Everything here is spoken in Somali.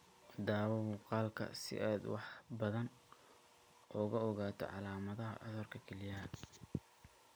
(Daawo muuqaalka si aad wax badan uga ogaato calaamadaha cudurka kelyaha.